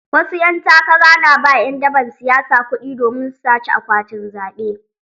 Wasu ƴan takara na ba ƴan daban siyasa kuɗi domin su sace akwatin zaɓe.